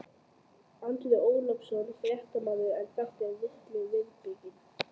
Andri Ólafsson, fréttamaður: En þetta er falleg viðbygging?